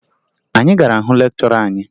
Anyị gara hụ lekchọra anyị